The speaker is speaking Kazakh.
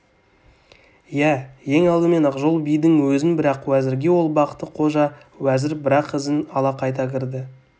иә ең алдымен ақжол бидің өзін бірақ уәзірге ол бақты-қожа уәзір бірақ ізін ала қайта кірді